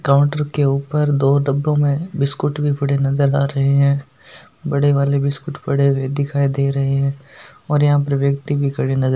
counter के ऊपर दो डब्बो में बिस्कुट भी पड़े नजर आ रहे है बड़े वाले बिस्कुट पड़े हुए दिखाई दे रहे है और यहाँ पे व्यक्ति भी खड़े नजर --